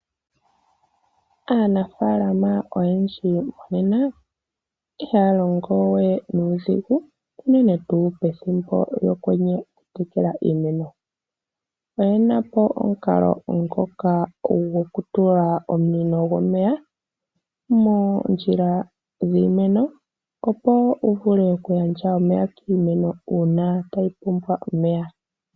Aanafalama oyendji monena ihaya longo we nuudhigu unene tuu pethimbo lyokwenye okutekela iimeno. Oyena po omukalo ngoka gokutula omunino gomeya moondjila dhiimeno opo gu vuleokugandja omeya kiimeno, uuna tayi pumbwa omeya.